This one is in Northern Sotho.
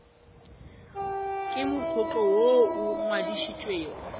ke mokgatlo woo o ngwadišitšwego